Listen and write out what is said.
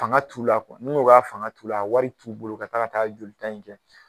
Fanga t'u la n'ko a fanga t'u la, a wari t'u bolo ka taa ka taa joli ta in kɛ.